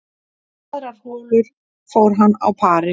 Aðrar holur fór hann á pari